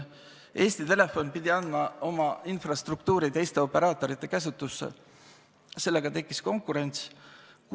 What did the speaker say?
Eesti Telefon pidi andma oma infrastruktuuri teiste operaatorite käsutusse ja sellega tekkis konkurents.